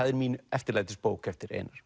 er mín eftirlætisbók eftir Einar